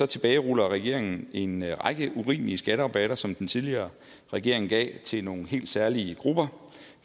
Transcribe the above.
tilbageruller regeringen en række urimelige skatterabatter som den tidligere regering gav til nogle helt særlige grupper